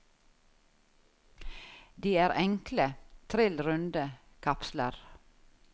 De er enkle, trill runde kapsler.